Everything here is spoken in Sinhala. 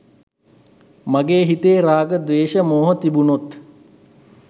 මගේ හිතේ රාග, ද්වේශ, මෝහ තිබුණොත්